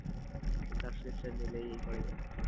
just subscription করে নিলেই পাওয়া যায় ।